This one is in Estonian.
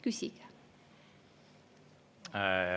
Küsige!